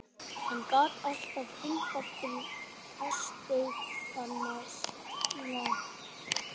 Hann gat alltaf hringt aftur í fasteignasalann.